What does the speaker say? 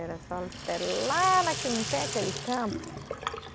Era só até lá, naquele, não tem aquele campo.